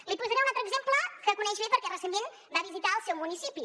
li posaré un altre exemple que coneix bé perquè recentment va visitar el seu municipi